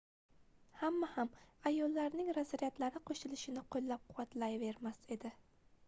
hamma ham ayollarning razryadlari qoʻshilishini qoʻllab-quvvatlayvermas edi